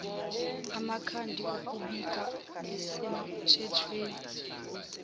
amakhadi okubika asemthethweni